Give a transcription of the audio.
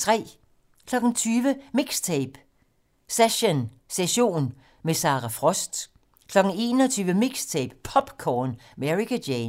20:00: MIXTAPE - Session - med Sara Frost 21:00: MIXTAPE - POPcorn med Ericka Jane